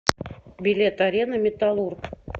билет арена металлург